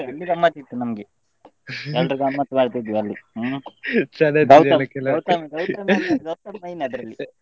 ಇಲ್ಲಿ ಗಮ್ಮತಿತ್ತು ನಮ್ಗೆ ಎಲ್ರು ಗಮ್ಮತ್ ಮಾಡ್ತಿದ್ವಿ ಅಲ್ಲಿ ಗೌತಮ್ main ಅದ್ರಲ್ಲಿ.